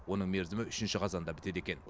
оның мерзімі үшінші қазанда бітеді екен